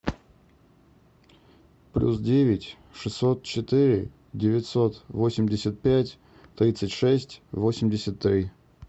плюс девять шестьсот четыре девятьсот восемьдесят пять тридцать шесть восемьдесят три